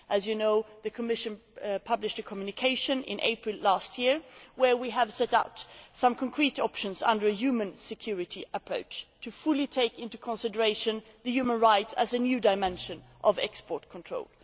As you know, the Commission published a Communication in April last year in which we set out some concrete options under a human security approach, to fully take into consideration human rights as a new dimension of export controls.